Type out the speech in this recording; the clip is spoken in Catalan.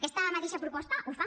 aquesta mateixa proposta ho fa